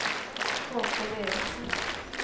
Haakon Erichsen